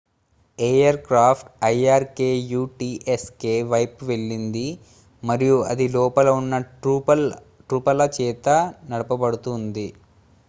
air craft irkutsk వైపు వెళ్ళింది మరియు అది లోపల ఉన్న ట్రూప్ల చేత నడపబడుతూ ఉంది